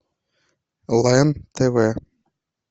лен тв